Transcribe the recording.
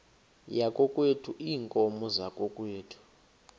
yakokwethu iinkomo zakokwethu